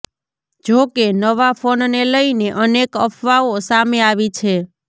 જોકે નવા ફોનને લઈને અનેક અફવાઓ સામે આવી છે